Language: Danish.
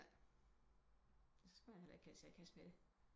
Så skal man heller ikke give sig i kast med det